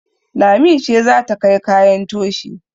Lami ce za ta kai kayan toshi